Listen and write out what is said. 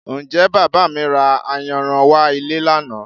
Ǹjẹ́ Bàbá mi ra ayanran wá ilé lánàá?